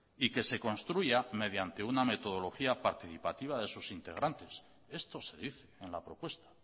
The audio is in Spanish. y que se construya mediante una metodología participativa de sus integrantes esto se dice en la propuesta